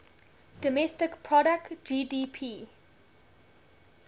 domestic product gdp